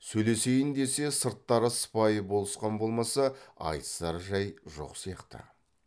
сөйлесейін десе сырттары сыпайы болысқан болмаса айтысар жай жоқ сияқты